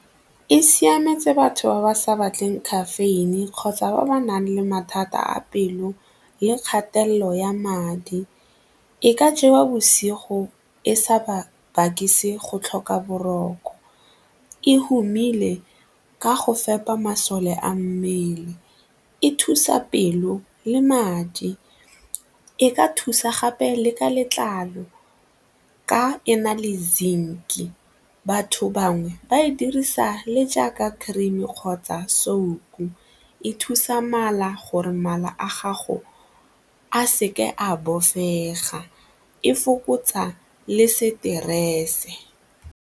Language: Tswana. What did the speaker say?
E siametse batho ba ba sa batleng caffeine kgotsa ba ba nang le mathata a pelo le kgatelelo ya madi, e ka jewa bosigo e sa ba berekise go tlhoka boroko, e humile ka go fepa masole a mmele, e thusa pelo le madi, e ka thusa gape le ka letlalo ka e na le zinc. Batho bangwe ba e dirisa le jaaka cream-e kgotsa soap-o, e thusa mala gore mala a gago a seke a bofega, e fokotsa le stress.